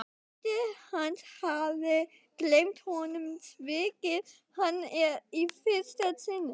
Frændi hans hafði gleymt honum, svikið hann í fyrsta sinn.